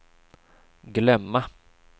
glömma